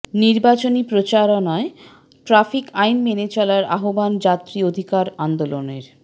নির্বাচনি প্রচারণায় ট্রাফিক আইন মেনে চলার আহ্বান যাত্রী অধিকার আন্দোলনের